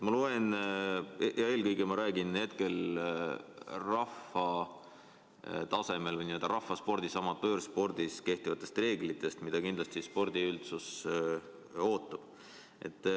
Ma eelkõige räägin rahvaspordi tasemest, amatöörspordis kehtivatest reeglitest, mida kindlasti spordiüldsus ootab.